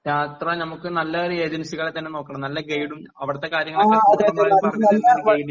യാത്ര നമുക്ക് നല്ലൊരു ഏജൻസികളെ തന്നെ നോക്കണം നല്ല ഗൈഡും അവിടത്തെ കാര്യങ്ങൾ പറഞ്ഞു തരുന്ന ഒരു ഗൈഡിനെ